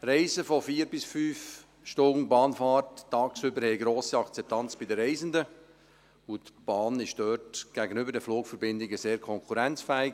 – Reisen von 4 bis 5 Stunden Bahnfahrt während des Tages haben eine grosse Akzeptanz bei den Reisenden, und die Bahn ist dort gegenüber den Flugverbindungen sehr konkurrenzfähig.